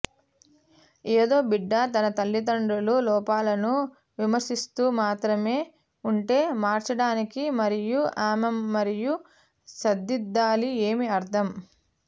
ఏదో బిడ్డ తన తల్లిదండ్రులు లోపాలను విమర్శిస్తూ మాత్రమే ఉంటే మార్చడానికి మరియు ఆమె మరియు సరిదిద్దాలి ఏమి అర్థం